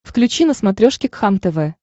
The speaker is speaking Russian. включи на смотрешке кхлм тв